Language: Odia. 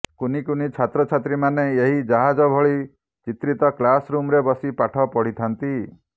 କୁନିକୁନି ଛାତ୍ରଛାତ୍ରୀ ମାନେ ଏହି ଜାହାଜ ଭଳି ଚିତ୍ରିତ କ୍ଲାସ୍ ରୁମରେ ବସି ପାଠ ପଢିଥାନ୍ତି